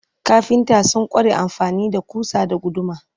kafinta sun kware amfani da kusa da guduma